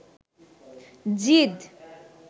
জিদ